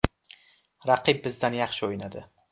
Raqib bizdan yaxshi o‘ynadi.